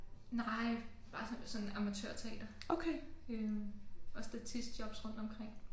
Nej bare sådan sådan amatørteater øh og statistjobs rundtomkring